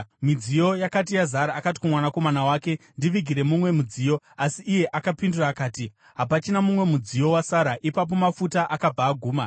Midziyo yose yakati yazara, akati kumwanakomana wake, “Ndivigire mumwe mudziyo.” Asi iye akapindura akati, “Hapachina mumwe mudziyo wasara.” Ipapo mafuta akabva aguma.